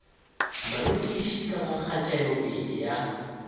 barutiši ka ga kgatelopele ya